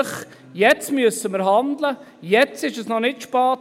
Jetzt müssen wir handeln, jetzt ist es noch nicht zu spät.